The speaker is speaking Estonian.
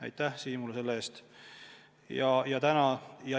Aitäh Siimule selle eest!